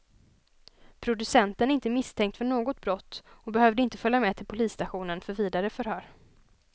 Producenten är inte misstänkt för något brott och behövde inte följa med till polisstationen för vidare förhör.